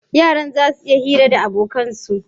Yaran zasu yi hira da abokan su?